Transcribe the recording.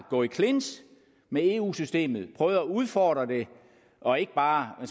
gå i clinch med eu systemet prøve at udfordre det og ikke bare